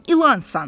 Sən ilansan.